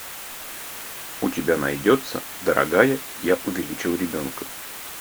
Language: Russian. у тебя найдется дорогая я увеличил ребенка